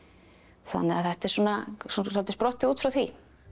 þannig að þetta er svolítið sprottið út frá því